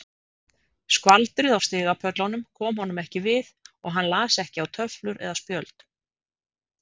Skvaldrið á stigapöllunum kom honum ekki við og hann las ekki á töflur eða spjöld.